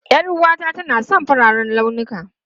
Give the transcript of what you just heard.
Yar'uwata tana son fararen launuka.